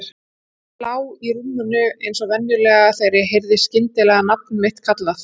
Ég lá í rúminu eins og venjulega þegar ég heyrði skyndilega nafn mitt kallað.